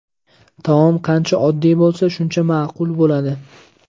Taom qancha oddiy bo‘lsa shuncha ma’qul bo‘ladi.